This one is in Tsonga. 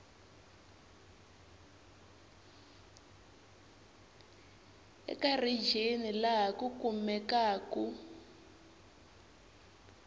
eka rijini laha ku kumekaku